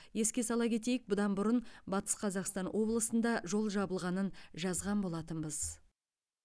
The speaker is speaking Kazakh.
еске сала кетейік бұдан бұрын батыс қазақстан облысында жол жабылғанын жазған болатынбыз